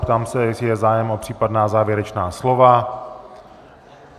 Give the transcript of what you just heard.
Ptám se, jestli je zájem o případná závěrečná slova.